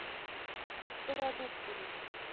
стародубцевой